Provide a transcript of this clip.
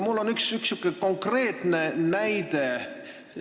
Mul on üks konkreetne näide.